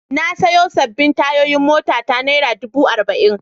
Na sayo sabbin tayoyin motata naira dubu arba'in.